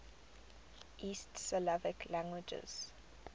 east slavic languages